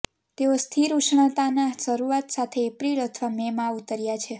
તેઓ સ્થિર ઉષ્ણતાની શરૂઆત સાથે એપ્રિલ અથવા મેમાં ઉતર્યા છે